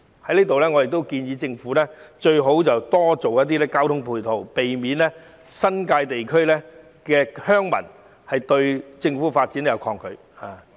我亦在此建議政府提供更多交通配套，以免新界地區鄉民抗拒政府的發展。